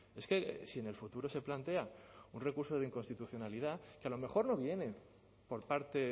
es que si en el futuro se plantea un recurso de inconstitucionalidad que a lo mejor no viene por parte